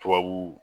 Tubabu